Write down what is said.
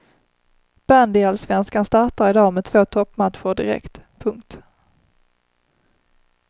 Bandyallsvenskan startar i dag med två toppmatcher direkt. punkt